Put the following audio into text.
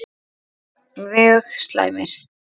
Mjög slæmir